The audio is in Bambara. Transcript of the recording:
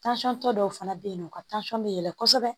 tɔ dɔw fana bɛ yen nɔ u ka bɛ yɛlɛ kɔsɛbɛ